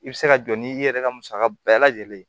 I bɛ se ka jɔ n'i yɛrɛ ka musaka bɛɛ lajɛlen ye